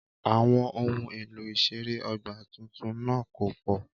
Àwọn ohun èlò ìṣeré ọgbà tuntun náà kò pọ̀